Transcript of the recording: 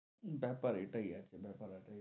বেপার এটাই আছে, বেপার এটাই,